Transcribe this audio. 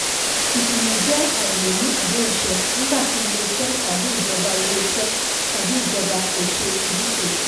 ìkùnà jẹ́ àìlè mú àdéhùn ṣẹ nígbà tí ilé-iṣẹ́ tàbí ìjọba ilé-iṣẹ́ tàbí ìjọba kò ṣe ojúṣe.